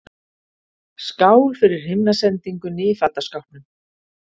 Skál fyrir himnasendingunni í fataskápnum!